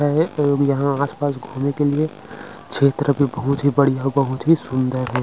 और यहाँ आसपास घूमने के लिए क्षेत्र भी बहुत ही बढ़िया बहुत ही सुन्दर है।